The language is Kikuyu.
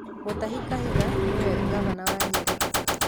Mutahi Kahiga nĩwe ngavana wa Nyĩrĩ